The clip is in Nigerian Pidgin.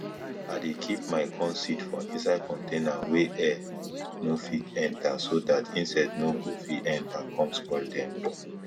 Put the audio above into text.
i dey keep my corn seed for inside container wey air nir fit enter so dat insect nor go fit enter com spoil dem